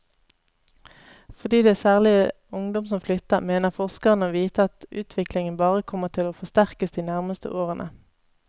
Fordi det særlig er ungdom som flytter, mener forskerne å vite at utviklingen bare kommer til å forsterkes de nærmeste årene.